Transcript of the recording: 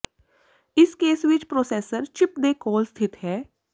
ਇਸ ਕੇਸ ਵਿੱਚ processor chip ਦੇ ਕੋਲ ਸਥਿਤ ਹੈ